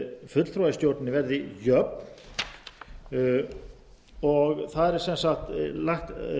fulltrúa í stjórnum verði jöfn og þar er sem sagt lagt